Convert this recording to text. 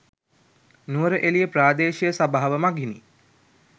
නුවරඑළිය ප්‍රාදේශීය සභාව මගිනි